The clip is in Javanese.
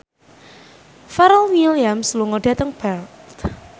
Pharrell Williams lunga dhateng Perth